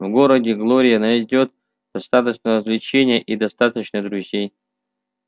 в городе глория найдёт достаточно развлечений и достаточно друзей